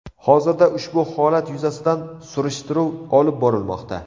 Hozirda ushbu holat yuzasidan surishtiruv olib borilmoqda.